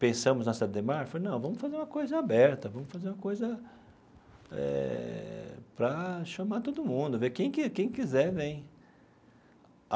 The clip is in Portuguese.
pensamos na Cidade Ademar falei não, vamos fazer uma coisa aberta, vamos fazer uma coisa eh para chamar todo mundo, ver quem que quem quiser vem.